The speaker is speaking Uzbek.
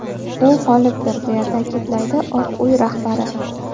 U g‘olibdir”, deya ta’kidlaydi Oq uy rahbari.